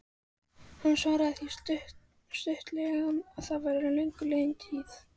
Hann svaraði því stuttaralega að það væri löngu liðin tíð.